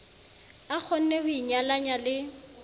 a kgonneng ho inyalanya le